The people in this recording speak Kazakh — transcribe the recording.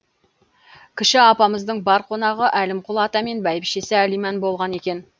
кіші апамыздың бар қонағы әлімқұл ата мен бәйбішесі әлиман болған екен